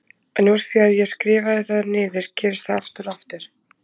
En úr því að ég skrifaði það niður gerist það aftur og aftur!